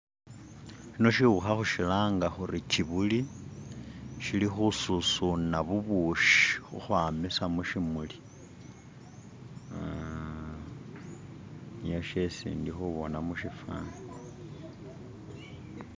Shino shiwukha khu shilanga khuri Kibuli shili khu susuna bubushi ukhwamisa mushimuli uh, niye sheshi ndikhubona mushifani